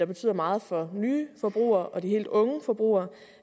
betyder meget for nye forbrugere og de helt unge forbrugere